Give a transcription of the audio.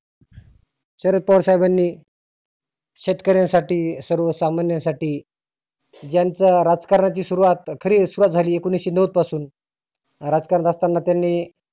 शरद पवार साहेबांनी शेतकर्यांसाठी सर्वसामान्य साठी ज्यांचा राजकारणाची सुरुवात खरी सुरुवात झाली एकोनिसशे नव्वद पासुन राजकारण करत असताना त्यांनी